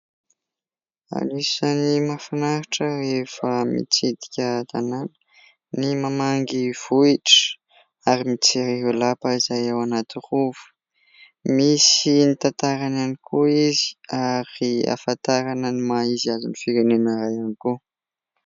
Anisany mahafinaritra efa mitsidika tanana ny mamangy vohitra ary mijery ireo lapa izay ao anaty Rova misy ny tantarany ihany koa izy ary ahafantarana ny maha izy azy ny firenena iray ihany koa.